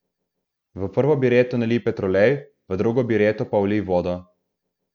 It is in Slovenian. V prvo bireto nalij petrolej, v drugo bireto pa vlij vodo.